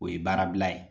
O ye baara bila ye